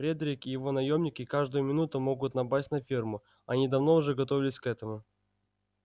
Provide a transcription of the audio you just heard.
фредерик и его наёмники каждую минуту могут напасть на ферму они давно уже готовились к этому